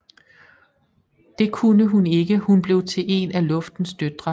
Det kunne hun ikke og hun blev til en af Luftens døtre